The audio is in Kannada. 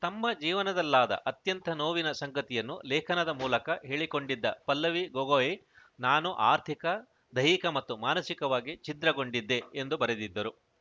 ತಮ್ಮ ಜೀವನದಲ್ಲಾದ ಅತ್ಯಂತ ನೋವಿನ ಸಂಗತಿಯನ್ನು ಲೇಖನದ ಮೂಲಕ ಹೇಳಿಕೊಂಡಿದ್ದ ಪಲ್ಲವಿ ಗೊಗೋಯ್‌ ನಾನು ಆರ್ಥಿಕ ದೈಹಿಕ ಮತ್ತು ಮಾನಸಿಕವಾಗಿ ಛಿದ್ರಗೊಂಡಿದ್ದೆ ಎಂದು ಬರೆದಿದ್ದರು